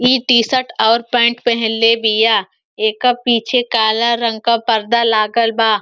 इ T shirt और pant पहिनले बिया। येकर पीछे काला रंग के पर्दा लागल बा।